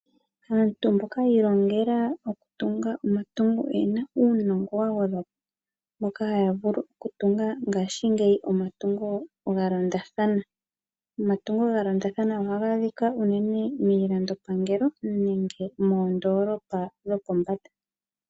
Aantu mboka yilongela oku . Tunga omatungo oyena unongo wangwedhwapo, mboka hayavulu okutunga ngashi ngeyi omatungo galondathana, omatungo galondathana oha gadhika unene milando pangelo nenge mondolopa dhopombanda.